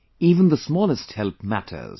Even the smallest help matters